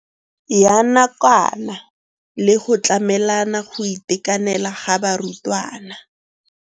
Ya nakwana le go tlamela go itekanela ga barutwana.